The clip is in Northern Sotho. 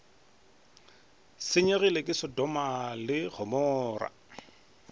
senyegile ke sotoma le gomora